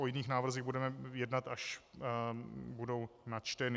O jiných návrzích budeme jednat, až budou načteny.